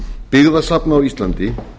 byggðasafna á íslandi